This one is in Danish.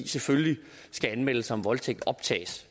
selvfølgelig skal anmeldelser om voldtægt optages